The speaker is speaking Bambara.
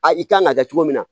A i kan ka kɛ cogo min na